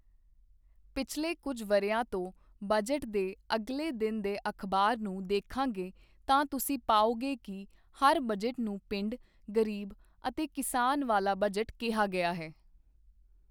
ਪਿਛਲੇ ਕੁਝ ਵਰ੍ਹਿਆਂ ਤੋਂ ਬਜਟ ਦੇ ਅਗਲੇ ਦਿਨ ਦੇ ਅਖ਼ਬਾਰ ਨੂੰ ਦੇਖਾਂਗੇ ਤਾਂ ਤੁਸੀਂ ਪਾਓਗੇ ਕਿ ਹਰ ਬਜਟ ਨੂੰ ਪਿੰਡ, ਗ਼ਰੀਬ ਅਤੇ ਕਿਸਾਨ ਵਾਲਾ ਬਜਟ ਕਿਹਾ ਗਿਆ ਹੈ।